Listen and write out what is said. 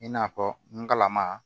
I n'a fɔ n galama